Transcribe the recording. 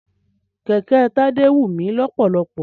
Kẹ̀kẹ́ Tádé wù mí lọ́pọ̀lọ́pọ̀.